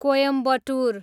Coimbatore